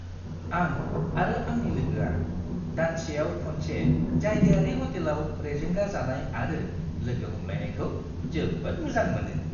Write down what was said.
आं आरो आंनि लोगोआ दानसेयाव खनसे जायगायारि ह'टेलाव रेजेंगा जानाय आरो लोगो हमलायनायखौ जोबोद मोजां मोनो।